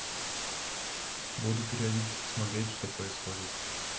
буду периодически смотреть что происходит